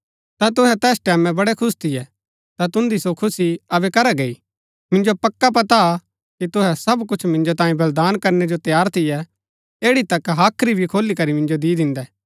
ता तुहै तैस टैमैं बडै खुश थियै ता तुन्दी सो खुशी अबै करा गई मिन्जो पक्का पता हा कि तुहै सब कुछ मिन्जो तांये बलिदान करनै जो तैयार थियै ऐड़ी तक हाख्री भी खोली करी मिन्जो दि दिन्दै